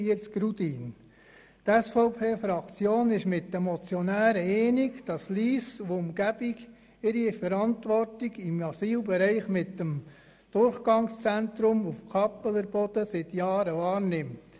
Die SVP-Fraktion ist mit dem Motionär einverstanden, dass Lyss und Umgebung die Verantwortung im Asylbereich mit dem Durchgangszentrum auf Kappeler Boden seit Jahren wahrnimmt.